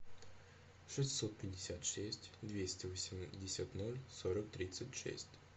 шестьсот пятьдесят шесть двести восемьдесят ноль сорок тридцать шесть